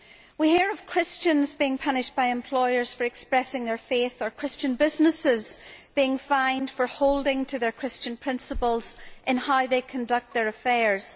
We hear of Christians being punished by employers for expressing their faith, or Christian businesses being fined for holding to their Christian principles in how they conduct their affairs.